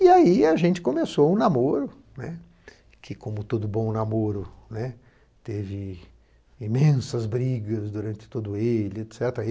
E aí a gente começou um namoro, né, que, como todo bom namoro, né, teve imensas brigas durante todo ele, et cetera